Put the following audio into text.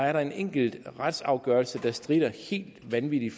er der en enkelt retsafgørelse der stritter helt vanvittigt